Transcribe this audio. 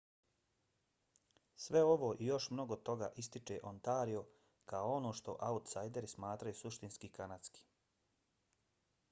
sve ovo i još mnogo toga ističe ontario kao ono što autsajderi smatraju suštinski kanadskim